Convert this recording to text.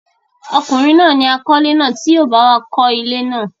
ọkùnrin náà ni àkọ́lé náà tí yóò báwa kọ́ ilé náà.